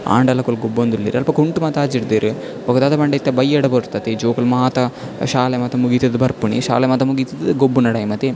ಆಂಡಲ ಅಕುಲು ಗೊಬ್ಬೊಂದುಲ್ಲೆರ್ ಅಲ್ಪ ಕುಂಟು ಮಾತ ಆಜಿಡ್ದೆರ್ ಬೊಕ ದಾದ ಪಂಡ ಇತ್ತೆ ಬಯ್ಯಡ ಪೊರ್ತು ಅತೆ ಈ ಜೋಕುಲು ಮಾತ ಶಾಲೆ ಮಾತ ಮುಗಿತುದ್ ಬರ್ಪಿನಿ ಶಾಲೆ ಮಾತ ಮುಗಿತುದ್ ಗೊಬ್ಬುನ ಟೈಮ್ ಅತೆ.